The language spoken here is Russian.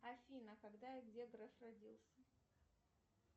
афина когда и где греф родился